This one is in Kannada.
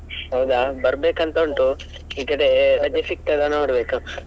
ಹೌದಾ ಬರ್ಬೇಕಂತ ಉಂಟು, ಈಗ ಅದೇ ರಜೆ ಸಿಕ್ತದ ನೋಡ್ಬೇಕು.